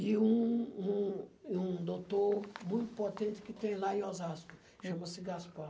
e um um e um doutor muito potente que tem lá em Osasco, chama-se Gaspar.